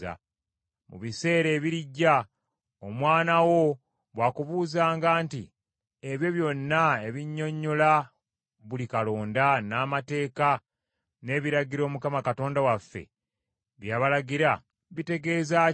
“Mu biseera ebirijja, omwana wo bw’akubuuzanga nti, Ebyo byonna ebinnyonnyola buli kalonda, n’amateeka, n’ebiragiro Mukama Katonda waffe bye yabalagira, bitegeeza ki?